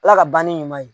Ala ka banni ɲuman ye